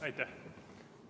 Aitäh!